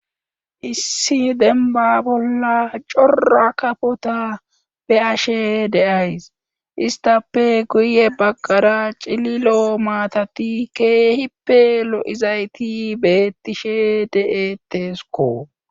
Issi denba bolla cora kafota be ashe deays istape guye baqara cililo maatati keehippe lo'izayti beettishe de'etesko.